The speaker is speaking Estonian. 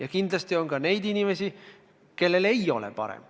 Aga kindlasti on ka neid inimesi, kellel ei ole parem.